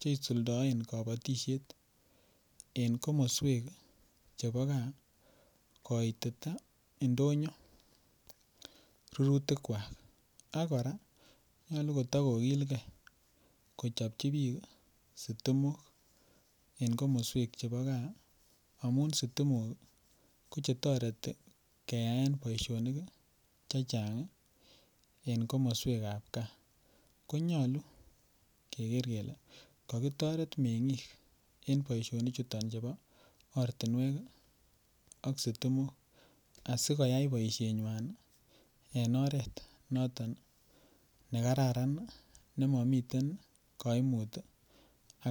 cheisuldoen kobotishek en komosweek chebo gaa, koitita indonyo rurutik kwaak ak koraa nyolu tagogilgee kochobchi biik iih sitimok en komosweek chebo gaa, amun sitimok kochetoreti keyaen boishonik chechang iih en komoswek ab gaa, konyolu kegeer kele kogitoret mengiing en boishonik chuton chubo ortinweek ak sitimook ,asigoyai boisheet nywaan iih en oreet noton negararan nemomiten kaimuut iih ak,,,